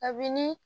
A bi ni